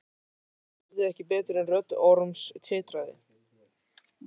Hann heyrði ekki betur en rödd Orms titraði.